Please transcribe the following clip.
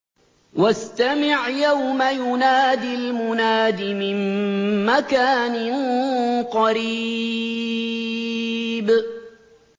وَاسْتَمِعْ يَوْمَ يُنَادِ الْمُنَادِ مِن مَّكَانٍ قَرِيبٍ